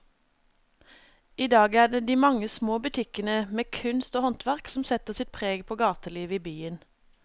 I dag er det de mange små butikkene med kunst og håndverk som setter sitt preg på gatelivet i byen.